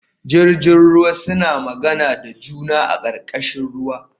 Jirjin ruwa suna magana da juna a karkashin ruwa